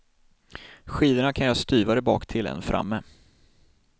Skidorna kan göras styvare baktill än framme.